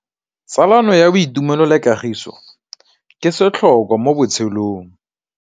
Tsalano ya boitumelo le kagiso ke setlhôkwa mo botshelong.